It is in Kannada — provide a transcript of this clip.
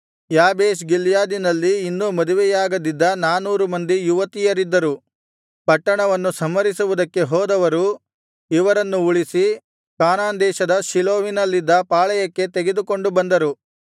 ಯಾಬೇಷ್ ಗಿಲ್ಯಾದಿನಲ್ಲಿ ಇನ್ನೂ ಮದುವೆಯಾಗದಿದ್ದ ನಾನೂರು ಮಂದಿ ಯುವತಿಯರಿದ್ದರು ಪಟ್ಟಣವನ್ನು ಸಂಹರಿಸುವುದಕ್ಕೆ ಹೋದವರು ಇವರನ್ನು ಉಳಿಸಿ ಕಾನಾನ್ ದೇಶದ ಶೀಲೋವಿನಲ್ಲಿದ್ದ ಪಾಳೆಯಕ್ಕೆ ತೆಗೆದುಕೊಂಡು ಬಂದರು